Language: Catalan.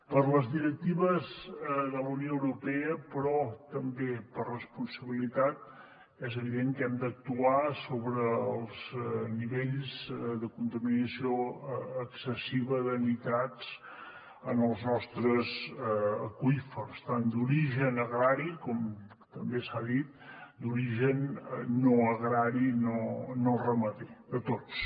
per les directives de la unió europea però també per responsabilitat és evident que hem d’actuar sobre els nivells de contaminació excessiva de nitrats en els nostres aqüífers tant d’origen agrari com també s’ha dit d’origen no agrari no ramader de tots